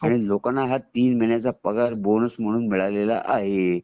आणि लोकाना ह्या तीन महिन्याचा पगार बोनस म्हणून मिळाला आहे